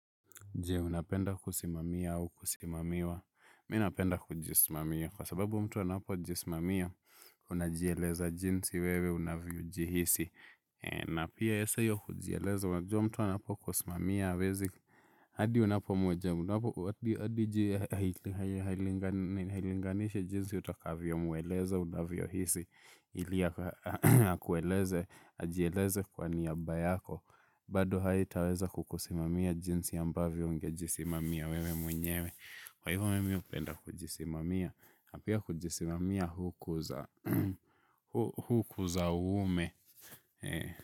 Jee, unapenda kusimamia au kusimamiwa? Mi napenda kujisimamia. Kwa sababu mtu anapojisimamia, unajieleza jinsi wewe unaviyojihisi. Na pia saa hiyo kujieleza, unajua mtu anapokusimamia hawezi. Hadi unapo mweja, hadi jihilinganishi jinsi utakavyo mweleza unaviyohisi, ili akueleze, ajieleze kwa niaba yako. Bado haitaweza kukusimamia jinsi ambavyo ungejisimamia wewe mwenyewe. Kwa hivyo mimi hupenda kujisimamia na pia kujisimamia hukuza uume.